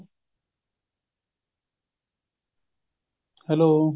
hello